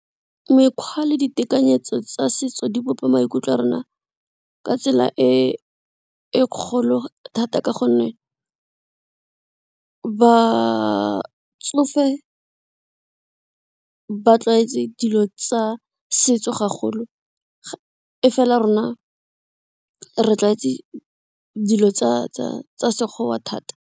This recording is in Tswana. Mekgwa le ditekanyetso tsa setso di bopa maikutlo a rona ka tsela e e kgolo thata ka gonne batsofe, ba tlwaetse dilo tsa setso ga golo e fela rona re tlwaetse dilo tsa sekgowa thata.